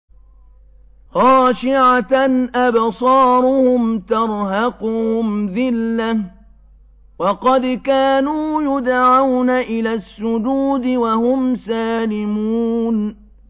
خَاشِعَةً أَبْصَارُهُمْ تَرْهَقُهُمْ ذِلَّةٌ ۖ وَقَدْ كَانُوا يُدْعَوْنَ إِلَى السُّجُودِ وَهُمْ سَالِمُونَ